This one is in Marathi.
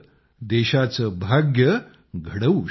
देशाचं भाग्य घडवू शकतं